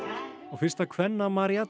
fyrsta kvenna